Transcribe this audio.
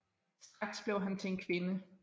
Straks blev han til en kvinde